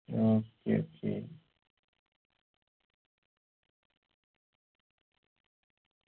okay okay